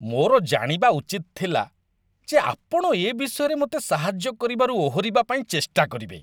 ମୋର ଜାଣିବା ଉଚିତ ଥିଲା ଯେ ଆପଣ ଏ ବିଷୟରେ ମୋତେ ସାହାଯ୍ୟ କରିବାରୁ ଓହରିବା ପାଇଁ ଚେଷ୍ଟା କରିବେ।